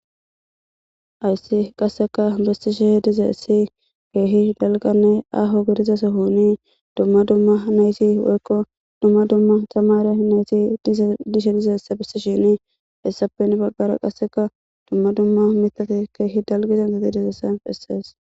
ayssi qasseka bessishe dize essi keehi dalganne aaho gidiza sohoni dumma dumma neyti weykko dumma dumma tamare nayti didishe dizessabisi shini hessappen baggara qasseka dumma dumma mitati keehi dalgizangati dizesay bessees